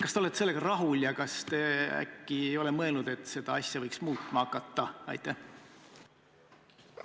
Kas te olete sellega rahul ja kas te äkki ei ole mõelnud, et seda võiks muutma hakata?